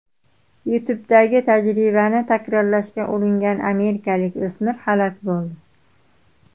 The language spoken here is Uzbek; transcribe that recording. YouTube’dagi tajribani takrorlashga uringan amerikalik o‘smir halok bo‘ldi.